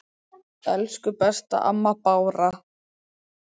Elsku besta amma Bára.